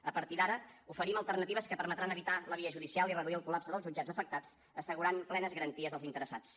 a partir d’ara oferim alternatives que permetran evitar la via judicial i reduir el col·lapse dels jutjats afectats assegurant plenes garanties als interessats